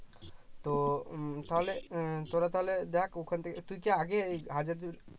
তো উম তাহলে এর তোরা তাহলে দেখ ওখান থেকে তুই কি আগে এই হাজার